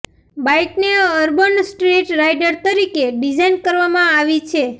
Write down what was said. બાઈકને urban street rider તરીકે design કરવામાં આવી છે